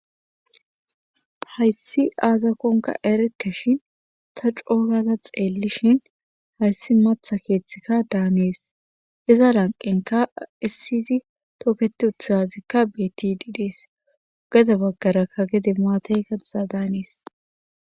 hayssi aazakonka erkke shin ta coogata xeellishhin hayssi matha keeththikka daanees iza lanqenka issiyzi tooketi utusazikka betidi dees gada baggarakka gde maateyazaa daanees